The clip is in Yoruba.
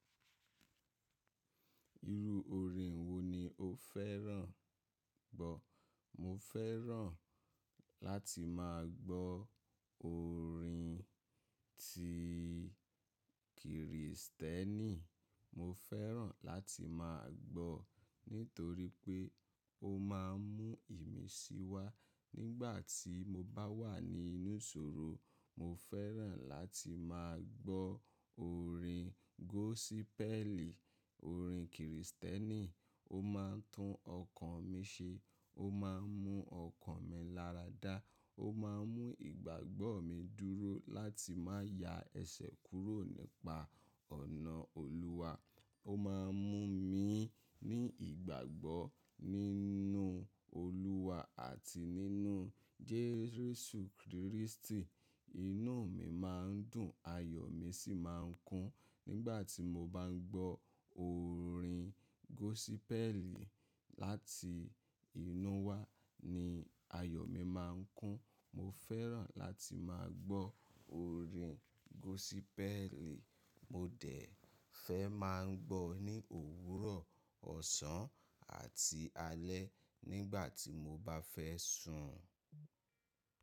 Irú orin wo ni o fẹ́ràn gbọ́? Mo fẹ́ràn láti máa gbọ́ orin ti Krìstẹ́nì. Mo fẹ́ràn láti máa gbọ́ nítorí pé ó máa ń mú ìmísí wá nígbà tí mo bá wà ní inú ìṣòro. Mo fẹ́ràn láti máa gbọ́ orin gósípẹ́ẹ̀lì, orin Krìstẹ́nì, ó máa ń tún ọkàn mi ṣe, ó máa ń mú ọkàn mi láradá, ó máa ń mú ìgbàgbọ́ mi dúró láti máa ya ẹ̀ṣẹ̀ kúrò nípa ọ̀nà Olúwa. Ó máa ń mú mi ní ìgbàgbọ́ nínú Olúwa àti nínú Jésù Krístì. Inú mi máa ń dùn, ayọ̀ mi sì máa ń kún nígbà tí mo bá ń gbọ́ orin gósípẹ́ẹ̀lì. Láti inú wá ni ayọ̀ mi máa ń kún. Mo fẹ́ràn láti máa gbọ́ orin gósípẹ́ẹ̀lì. Mo dẹ̀ fẹ́ máa ń gbọ́ ní òwúrọ̀, ọ̀sán àti alẹ́ nígbà tí mo bá fẹ́ sùn.